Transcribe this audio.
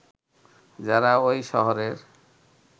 যারা ওই শহরের